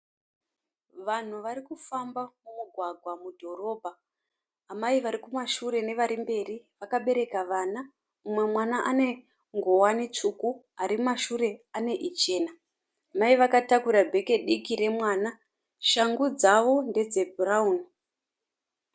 Vanhu varikufamba mumugwagwa mudhorobha. Amai vari kumashure nevari mberi vakabereka vana, umwe mwana ane nguwani tsvuku, ari kumashure ane ichena. Mai vakatakura bheke diki remwana, shangu dzavo ndedze bhurauni